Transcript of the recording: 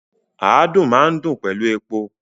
Àádùn máa n dùn pẹlú epo.